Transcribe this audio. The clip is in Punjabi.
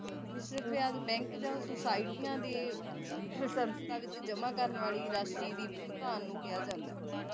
ਮਿਸ਼ਰਤ ਵਿਆਜ ਬੈਂਕ ਜਾ ਸੁਸਾਇਟੀਆਂ ਦੀ ਵਿੱਚ ਜਮਾ ਕਰਨ ਵਾਲੀ ਰਾਸ਼ੀ ਦੀ ਭੁਗਤਾਨ ਨੂੰ ਕਿਹਾ ਜਾਂਦਾ